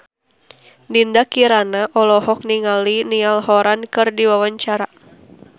Dinda Kirana olohok ningali Niall Horran keur diwawancara